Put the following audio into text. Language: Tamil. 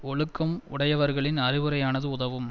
ஒழுக்கம் உடையவர்களின் அறிவுரையானது உதவும்